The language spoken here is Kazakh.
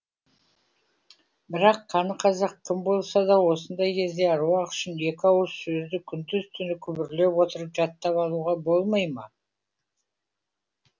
бірақ қаны қазақ кім болса да осындай кезде аруақ үшін екі ауыз сөзді күндіз түні күбірлеп отырып жаттап алуға болмай ма